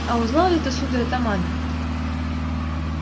а узнал ли ты сударь атамана